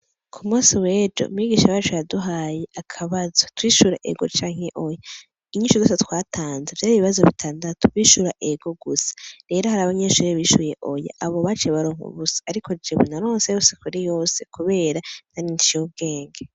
Ku munsi wejo, umwigisha wacu yaduhaye akabazo, twishura ego canke oya, inyishu zose twatanze vyari ibibazo bitandatu twishura ego gusa, rero hari abanyeshure bishuye oya abo baciye baronka ubusa, ariko jewe naronse yose kuri yose kubera nanje nciye ubwenge.